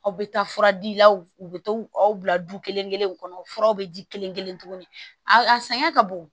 Aw bɛ taa fura di i la u bɛ to aw bila du kelen kelen kelenw kɔnɔ furaw bɛ ji kelen kelen tuguni a a sɛgɛn ka bon